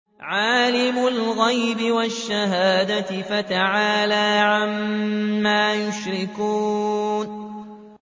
عَالِمِ الْغَيْبِ وَالشَّهَادَةِ فَتَعَالَىٰ عَمَّا يُشْرِكُونَ